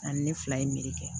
Ani ne fila ye meri kɛ